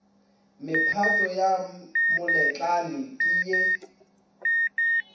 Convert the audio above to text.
mephato ya moletlane ke ye